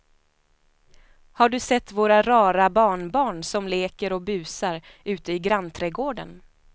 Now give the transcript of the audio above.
Har du sett våra rara barnbarn som leker och busar ute i grannträdgården!